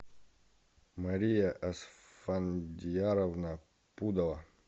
мария асфандияровна пудова